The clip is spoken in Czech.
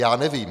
Já nevím.